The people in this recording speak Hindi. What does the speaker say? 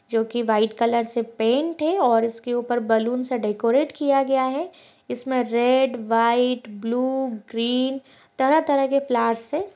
जो कि व्हाइट कलर से पेंट है और उसके ऊपर बैलून से डेकोरेट किया गया है। इसमें रेड व्हाइट ब्लू ग्रीन तरह-तरह के प्लैट्स से ।